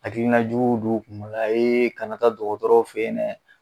Hakilna juguw don u kun kana taa dɔgɔtɔrɔw fe yen nɛ